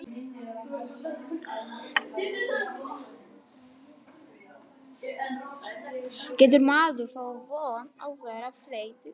Getur maður þá átt von á að verða fleygt út?